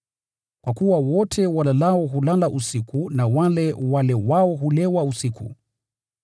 Kwa kuwa wote walalao hulala usiku na wale walewao hulewa usiku.